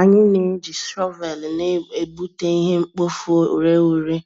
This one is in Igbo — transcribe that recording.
Anyị na-eji shọvel na-egbute ihe-mkpofu-ureghure,